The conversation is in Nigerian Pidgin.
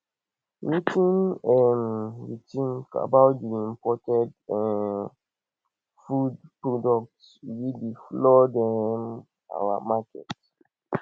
wetin um you think about di imported um food products wey dey flood um our markets